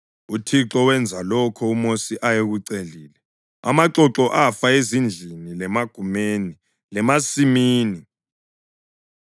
UThixo wenza lokho uMosi ayekucelile. Amaxoxo afa ezindlini lemagumeni lemasimini.